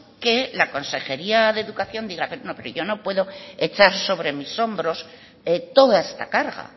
que la consejería de educación diga no pero yo no puedo echar sobre mis hombros toda esta carga